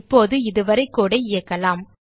இப்போது இதுவரை கோடு ஐ இயக்கலாம்